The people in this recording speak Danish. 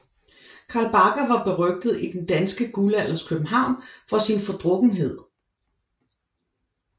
Carl Bagger var berygtet i Den danske Guldalders København for sin fordrukkenhed